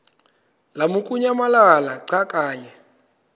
lamukunyamalala xa kanye